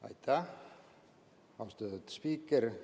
Aitäh, austatud spiiker!